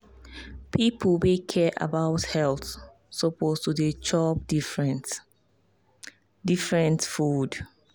people wey care about health suppose to dey chop different different food.